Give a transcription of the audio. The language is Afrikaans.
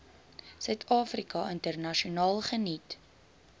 suidafrika internasionaal geniet